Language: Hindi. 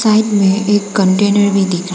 एक कंटेनर भी दिखा रहा--